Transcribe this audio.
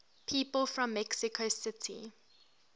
people from mexico city